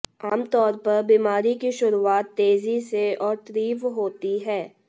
आम तौर पर बीमारी की शुरुआत तेजी से और तीव्र होती है